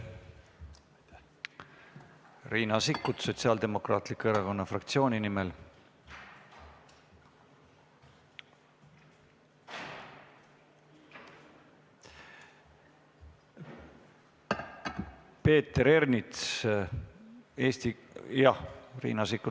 Riina Sikkut Sotsiaaldemokraatliku Erakonna fraktsiooni nimel, palun!